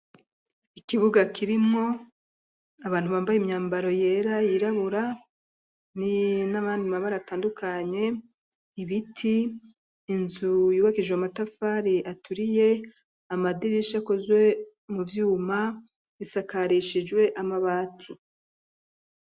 Ikibuga kirimwo abantu bambaye imyambaro yera yirabura n'abandi mabara atandukanye, ibiti, inzu yubakije matafari aturiye ,amadirishi akozwe mu vyuma bisakarishijwe amabati.